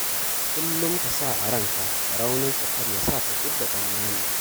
Kullum ka sa a ranka rauninka kar ya sa ka fidda tsammani.